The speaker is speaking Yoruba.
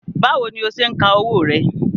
Báwo ni o ṣe ń ka owó rẹ?